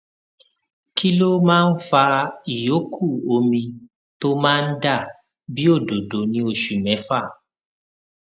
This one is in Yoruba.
kí ló máa ń fa ìyókù omi tó máa ń dà bí òdòdó ní oṣù méfà